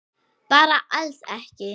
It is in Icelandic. Bara alls ekki?